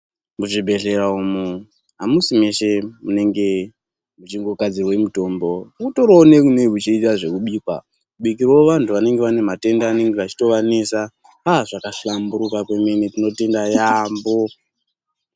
Muzvibhedhlera umu hamusi mese munenge muchingogadzirwe mitombo. Kutoriwo nekunenge kuchiitwa zvekubika, kubikirawo vantu vanenge vachitori nematenda anenge achivanesa aa zvakahlamburuka yaamho, tinotenda yaamho.